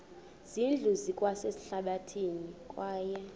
zindlu zikwasehlathini kwaye